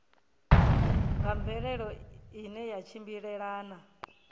nga mvelelo ine ya tshimbilelana